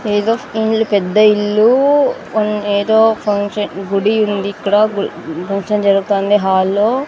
ఏదో ఇండ్లు పెద్ద ఇల్లు మ్మ్ ఏదో ఫంక్ష గుడి ఉందిక్కడ ఫంక్షన్ జరగతాంది హాల్లో .